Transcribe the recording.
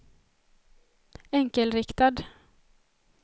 enkelriktad